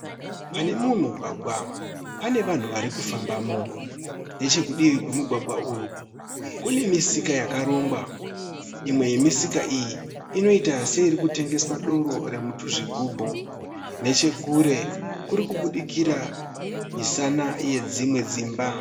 Pane umwe mugwagwa pane vanhu vari kufambamo. Nechekudivi kwemugwagwa uyu kune misika yakarongwa. Imwe yemisika iyi inoita seiri kutengeswa doro remutuzvigubhu. Nechekure kuri kubudikira misana yedzimwe dzimba.